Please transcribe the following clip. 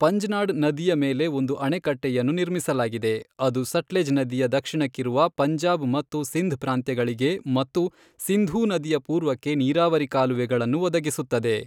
ಪಂಜ್ನಾಡ್ ನದಿಯ ಮೇಲೆ ಒಂದು ಅಣೆಕಟ್ಟೆಯನ್ನು ನಿರ್ಮಿಸಲಾಗಿದೆ, ಅದು ಸಟ್ಲೆಜ್ ನದಿಯ ದಕ್ಷಿಣಕ್ಕಿರುವ ಪಂಜಾಬ್ ಮತ್ತು ಸಿಂಧ್ ಪ್ರಾಂತ್ಯಗಳಿಗೆ ಮತ್ತು ಸಿಂಧೂ ನದಿಯ ಪೂರ್ವಕ್ಕೆ ನೀರಾವರಿ ಕಾಲುವೆಗಳನ್ನು ಒದಗಿಸುತ್ತದೆ.